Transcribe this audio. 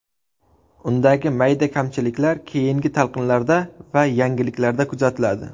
Undagi mayda kamchiliklar keyingi talqinlarda va yangilashlarda tuzatiladi.